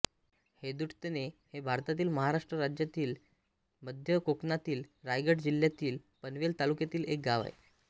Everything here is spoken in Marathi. हेदुटणे हे भारतातील महाराष्ट्र राज्यातील मध्य कोकणातील रायगड जिल्ह्यातील पनवेल तालुक्यातील एक गाव आहे